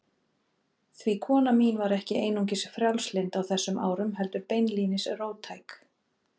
Því kona mín var ekki einungis frjálslynd á þessum árum, heldur beinlínis róttæk.